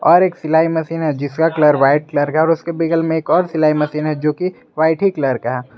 और एक सिलाई मशीन है जिसका कलर वाइट कलर का और उसके बिगल में एक और सिलाई मशीन है जो कि व्हाइट ही कलर का है।